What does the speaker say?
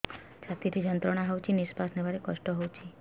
ଛାତି ରେ ଯନ୍ତ୍ରଣା ହଉଛି ନିଶ୍ୱାସ ନେବାରେ କଷ୍ଟ ହଉଛି